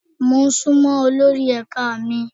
Mo sunmọ olórí ẹ̀ka mi.